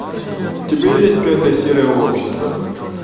у тебя есть пятая серия общество